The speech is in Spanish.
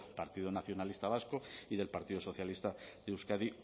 partido nacionalista vasco y del partido socialista de euskadi